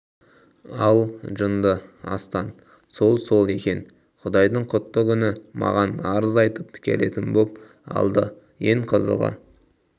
алжынды астан сол сол екен құдайдың құтты күні маған арыз айтып келетін боп алды ең қызығы